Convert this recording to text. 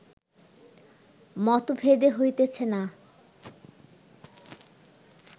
মতভেদ হইতেছে না